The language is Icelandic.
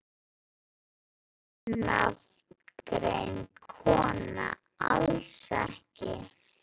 Ónafngreind kona: Alls ekki?